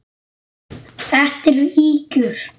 Þetta eru ýkjur!